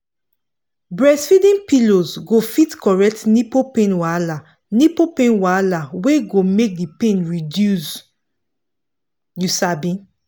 breastfeeding pillows go fit correct nipple pain wahala nipple pain wahala wey go make the pain reduce wait you sabi